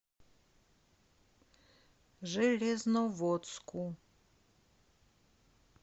железноводску